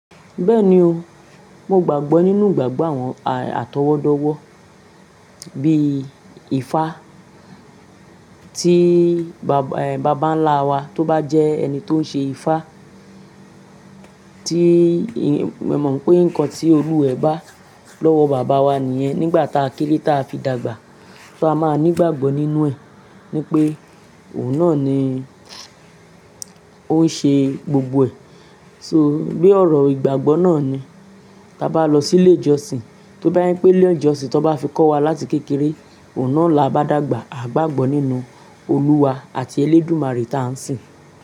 Bẹ́ẹ̀ni o, mo gbàgbọ́ nínú ìgbàgbọ́ àwọn àtọwọ́dọ́wọ́ bí i Ifá tí bàbà ńlá wa tó bá jẹ́ ẹni tó ń ṣe Ifá tí mo mọ̀ pé nǹkan tí olúwa ẹ̀ bá lọ́wọ́ bàbá wa nìyẹn nígbà ta kéré ta fi dàgbà fá máa nígbàgbọ́ nínú ẹ̀ ni pé òun náà ni ó ń ṣe gbogbo ẹ̀. So bí ọ̀rọ̀ ìgbàgbọ́ náà ni. Tá bá lọ sí ilé ìjọsìn, tó bá ye pé ilé ìjọsìn tó bá fi kọ́ wa láti kékeré, òun náà la a bá dàgbà, à ń gbàgbọ́ nínú Olúwa àti elédùmarè ta ń sìn.